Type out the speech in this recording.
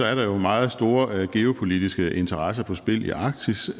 er der jo meget store geopolitiske interesser på spil i arktis